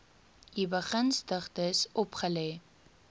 u begunstigdes opgelê